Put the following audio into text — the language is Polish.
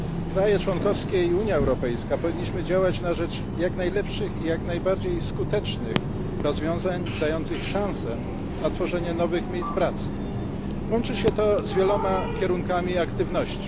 Państwa członkowskie i Unia Europejska powinny działać na rzecz jak najlepszych i jak najskuteczniejszych rozwiązań dających szansę na tworzenie nowych miejsc pracy. Łączy się to z wieloma kierunkami aktywności.